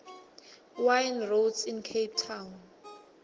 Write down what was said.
wine routes in cape town